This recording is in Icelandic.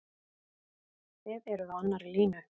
Þið eruð á annarri línu?